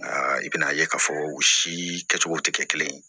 I bɛna ye k'a fɔ u si kɛcogo tɛ kɛ kelen ye